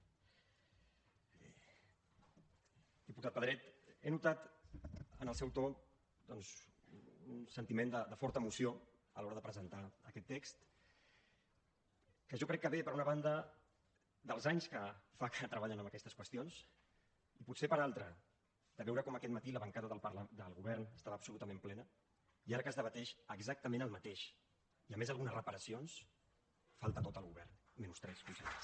diputat pedret he notat en el seu to doncs un sentiment de forta emoció a l’hora de presentar aquest text que jo crec que ve per una banda dels anys que fa que treballen en aquestes qüestions i potser per l’altra de veure com aquest matí la bancada del govern estava absolutament plena i ara que es debat exactament el mateix i a més algunes reparacions falta tot el govern menys tres consellers